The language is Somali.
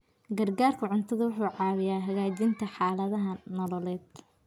Gargaarka cuntadu wuxuu caawiyaa hagaajinta xaaladaha nololeed.